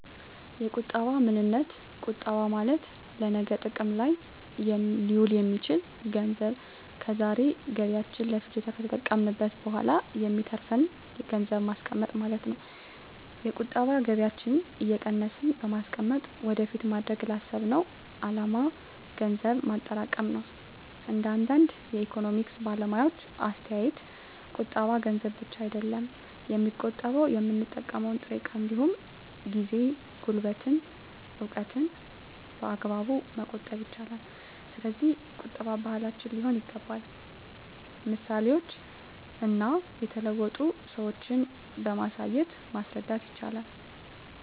የቁጠባ ምንነት ቁጠባ ማለት ለነገ ጥቅም ላይ ሊውል የሚችል ገንዘብ ከዛሬ ገቢያችን ለፍጆታ ከተጠቀምንት በኋላ የሚተርፍን ገንዘብን ማስቀመጥ ማለት ነው። የቁጠባ ከገቢያችን እየቀነስን በማስቀመጥ ወደፊት ማድረግ ላሰብነው አላማ ገንዘብ ማጠራቀም ነው። እንደ አንዳንድ የኢኮኖሚክስ ባለሙያዎች አስተያየት ቁጠባ ገንዘብ ብቻ አይደለም የሚቆጠበው የምንጠቀመው ጥሬ እቃ እንዲሁም ጊዜ፣ ጉልበትን፣ እውቀትን በአግባቡ መቆጠብ ይቻላል። ስለዚህ ቁጠባ ባህላችን ሊሆን ይገባል ምሳሌዎችን እና የተለወጡ ሰዎችን በማሳየት ማስረዳት ይቻላል